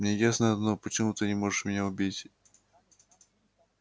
мне ясно одно почему ты не можешь меня убить